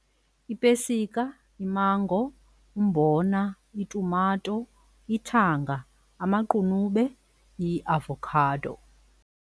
Ipesika, imango, umbona, itumato, ithanga, amaqunube, iavokhado.